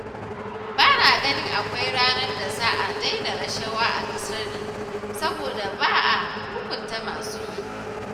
Ba na ganin akwai ranar da za a daina rashawa a ƙasar nan saboda ba a hukunta masu yi